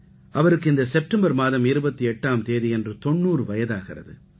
அவருக்கு இந்த செப்டெம்பர் மாதம் 28ஆம் தேதியன்று 90 வயதாகிறது